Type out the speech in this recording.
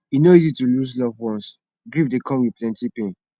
e no easy to lose loved ones grief dey come with plenty pain